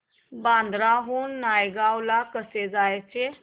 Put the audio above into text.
बांद्रा हून नायगाव ला कसं जायचं